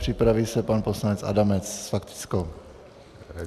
Připraví se pan poslanec Adamec s faktickou.